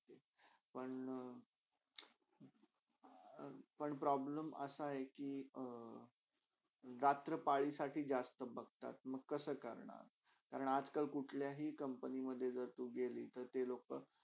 पण पण problem असा आहे कि अ रात्र पालीसाठी जास्त बघतात. मंग कसा करणार? आणि आज -काल कुठल्याही company मधे जर तू गेली तर ते लोका.